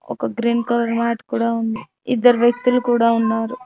ఒక green colour mat కూడా ఉంది ఇద్దరు వ్యక్తులు కూడా ఉన్నారు.